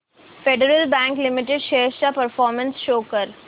federal bank limited shares चा performance show कर